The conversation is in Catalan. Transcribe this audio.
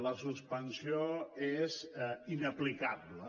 la suspensió és inaplicable